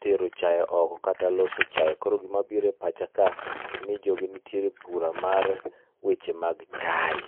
tero chai oko kata loso chai. Koro gima biro epacha ka ni jogi nietere ebura mar weche mag chai.